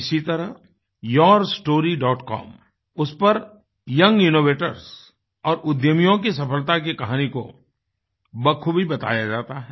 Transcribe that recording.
इसी तरह yourstorycom उस पर यंग इनोवेटर्स और उद्यमियों की सफलता की कहानी को बखूबी बताया जाता है